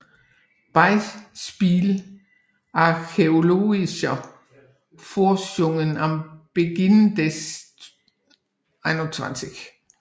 Beispiele archäologischer Forschungen am Beginn des 21